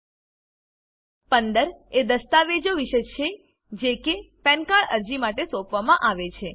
15 એ દસ્તાવેજો વિશે છે જે કે પેન કાર્ડ અરજી માટે સોપવામાં છે